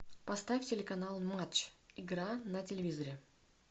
поставь телеканал матч игра на телевизоре